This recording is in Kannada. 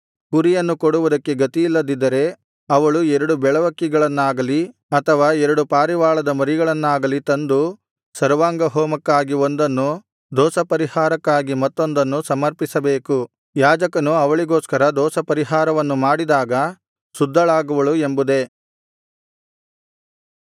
ಕುರಿಯನ್ನು ಕೊಡುವುದಕ್ಕೆ ಗತಿಯಿಲ್ಲದಿದ್ದರೆ ಅವಳು ಎರಡು ಬೆಳವಕ್ಕಿಗಳನ್ನಾಗಲಿ ಅಥವಾ ಎರಡು ಪಾರಿವಾಳದ ಮರಿಗಳನ್ನಾಗಲಿ ತಂದು ಸರ್ವಾಂಗಹೋಮಕ್ಕಾಗಿ ಒಂದನ್ನು ದೋಷಪರಿಹಾರಕ್ಕಾಗಿ ಮತ್ತೊಂದನ್ನು ಸಮರ್ಪಿಸಬೇಕು ಯಾಜಕನು ಅವಳಿಗೋಸ್ಕರ ದೋಷಪರಿಹಾರವನ್ನು ಮಾಡಿದಾಗ ಶುದ್ಧಳಾಗುವಳು ಎಂಬುದೆ